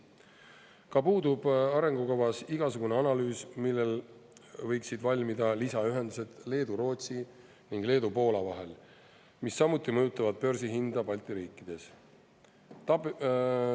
Ka puudub arengukavas igasugune analüüs, millal võiksid valmida lisaühendused Leedu-Rootsi ning Leedu-Poola vahel, mis samuti mõjutavad börsihinda Balti riikides.